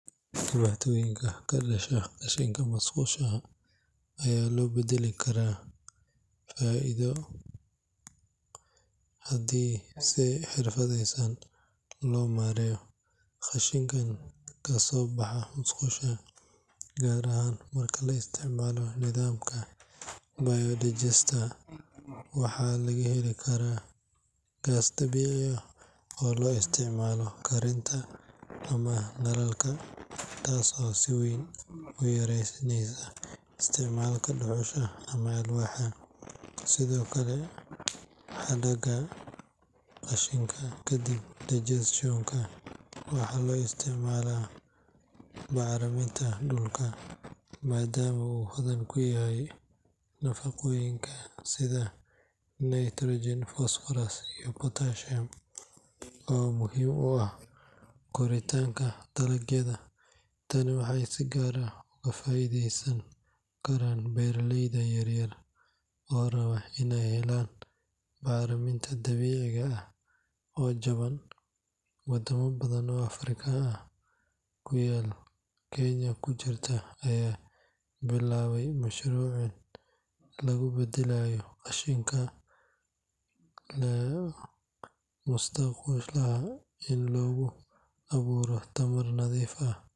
Dhibaatooyinka ka dhasha qashinka musqulaha ayaa loo beddeli karaa faa’iido haddii si xirfadeysan loo maareeyo. Qashinka kasoo baxa musqusha, gaar ahaan marka la isticmaalo nidaamka bio-digester, waxaa laga heli karaa gaas dabiici ah oo loo isticmaalo karinta ama nalalka, taas oo si weyn u yaraynaysa isticmaalka dhuxusha ama alwaaxa. Sidoo kale, hadhaaga qashinka kadib digestion-ka waxaa loo isticmaali karaa bacriminta dhulka, maadaama uu hodan ku yahay nafaqooyin sida nitrogen, phosphorus, iyo potassium oo muhiim u ah koritaanka dalagyada. Tani waxay si gaar ah uga faa’iideysan karaan beeraleyda yaryar oo raba iney helaan bacriminta dabiiciga ah oo jaban. Wadamo badan oo Afrika ku yaal, Kenya ku jirto, ayaa bilaabay mashaariic lagu beddelayo qashinka musqulaha si loogu abuuro tamar nadiif ah.